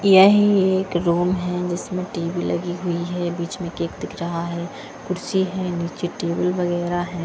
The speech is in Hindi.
यही एक रूम है इसमें टी_वी लगी हुई है बीच में केक दिख रहा है कुर्सी है नीचे टेबल वगैरह है।